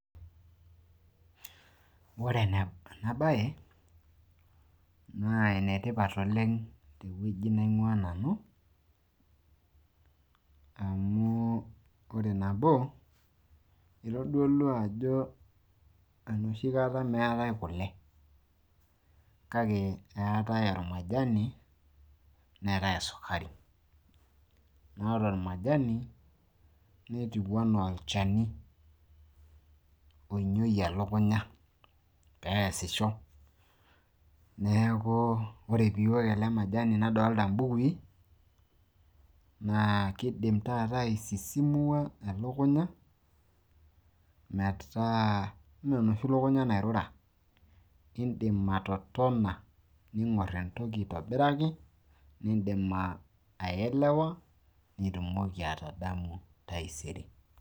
Ore ena baye naa enetipat oleng tewueji naing`uaa nanu , amu ore nabo eitodolu ajo enoshi kata meeta e kule kake eetae ormajani neetai esukari. Naa ore olmajani netiu enaa olchani oinyiyie elukunya pee easisho. Niaku ore pee iwok ele majani nadolita imbukui naa kidim taata ai sisimua elukunya, metaa mme enoshi lukunya nairura idim atotona ning`orr entoki aitobiraki nidim a elewa nitumoki atadamu taisere.